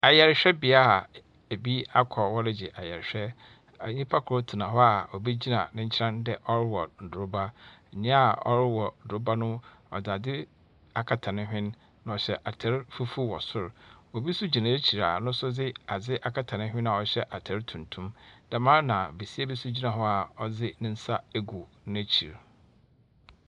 Ayarhwɛbea a ebi akɔ ɔregye ayarehwɛ. Nyimpa kor tsena hɔ a obi gyina n'enkyɛn dɛ ɔrewɔn droba. Nyaa ɔrewɔ droba no, ɔdze adze akata nehwen, na ɔhyɛ atar fufuw wɔ sor. Obi so gyina n'ekyir a ɔdze adze akata nehwen a ɔhyɛ atar tuntum. Dɛm ara na besia bi nso gyina hɔ a ɔdze nensa egu n'ekyir.